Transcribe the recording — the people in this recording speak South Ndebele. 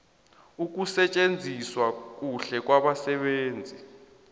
ukusetjenziswa kuhle kwabasebenzi